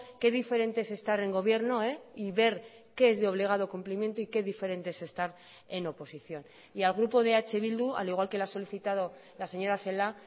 qué diferente es estar en gobierno y ver qué es de obligado cumplimiento y qué diferente es estar en oposición y al grupo de eh bildu al igual que la ha solicitado la señora celaá